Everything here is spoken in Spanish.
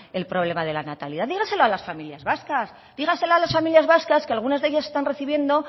el problema de la natalidad dígaselo a las familias vascas dígaselo a las familias vascas que algunas de ellas están recibiendo